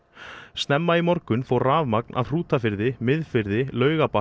snemma í morgun fór rafmagn af í Hrútafirði Miðfirði Laugarbakka